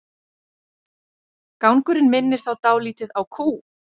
Gangurinn minnir þá dálítið á kú.